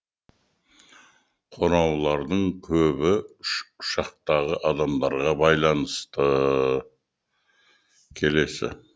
қоңыраулардың көбі ұшақтағы адамдарға байланысты